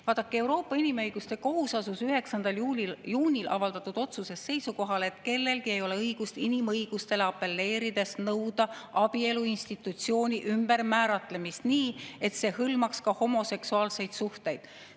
Vaadake, Euroopa Inimõiguste Kohus asus 9. juunil avaldatud otsuses seisukohale, et kellelgi ei ole õigust inimõigustele apelleerides nõuda abielu institutsiooni ümbermääratlemist nii, et see hõlmaks ka homoseksuaalseid suhteid.